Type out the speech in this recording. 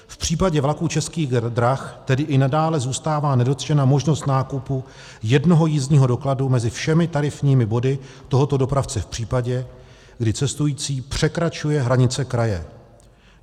V případě vlaků Českých drah tedy i nadále zůstává nedotčena možnost nákupu jednoho jízdního dokladu mezi všemi tarifními body tohoto dopravce v případě, kdy cestující překračuje hranice kraje.